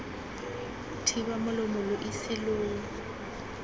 thiba molomo lo ise lo